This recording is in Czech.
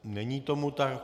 Není tomu tak.